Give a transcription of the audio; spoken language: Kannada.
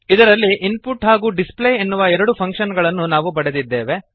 ಇದರಲ್ಲಿ ಇನ್ಪುಟ್ ಹಾಗೂ ಡಿಸ್ಪ್ಲೇ ಎನ್ನುವ ಎರಡು ಫಂಕ್ಶನ್ ಗಳನ್ನು ನಾವು ಪಡೆದಿದ್ದೇವೆ